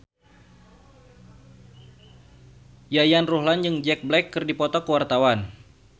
Yayan Ruhlan jeung Jack Black keur dipoto ku wartawan